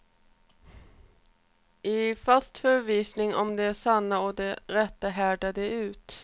I fast förvissning om det sanna och det rätta härdar de ut.